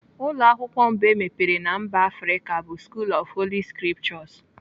Ụlọ akwụkwọ mbụ emepere na mba Afrịka bụ School of Holy scriptures.